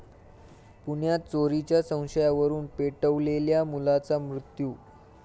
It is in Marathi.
पुण्यात चोरीच्या संशयावरुन पेटवलेल्या मुलाचा मृत्यू